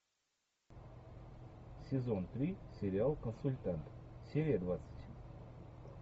сезон три сериал консультант серия двадцать